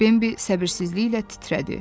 Bambi səbirsizliklə titrədi.